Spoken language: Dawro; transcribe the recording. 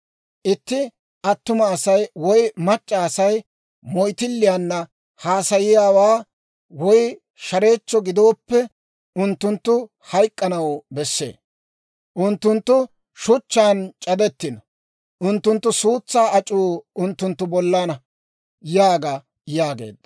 « ‹Itti attuma Asay woy mac'c'a Asay moyttilliyaanna haasayiyaawaa woy shareechcho gidooppe, unttunttu hayk'k'anaw besse. Unttunttu shuchchaan c'adettino. Unttunttu suutsaa ac'uu unttunttu bollana› yaaga» yaageedda.